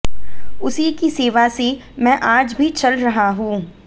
उसी की सेवा से मैं आज भी चल रहा हूं